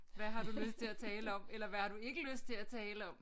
Hvad har du lyst til at tale om eller hvad har du ikke lyst til at tale om